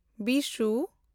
Bishu